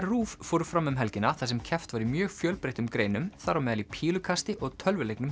RÚV fóru fram um helgina þar sem keppt var í mjög fjölbreyttum greinum þar á meðal í pílukasti og tölvuleiknum